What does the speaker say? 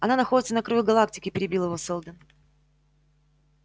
она находится на краю галактики перебил его сэлдон